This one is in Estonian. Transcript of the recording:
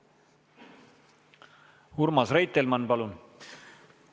Urmas Reitelmann, palun!